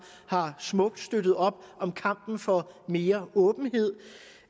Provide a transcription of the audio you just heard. har smukt støttet op om kampen for mere åbenhed